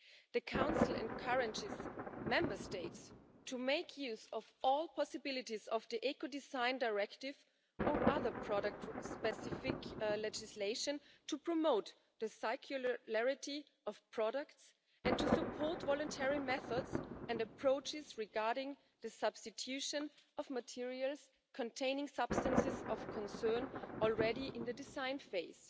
The Council encourages Member States to make use of all possibilities under the Ecodesign Directive or other product specific legislation to promote the circularity of products and to support voluntary methods and approaches regarding the substitution of materials containing substances of concern as early as the design phase.